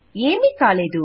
ఏమీ కాలేదు